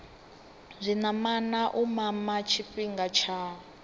zwinamana u mama tshifhinga tshi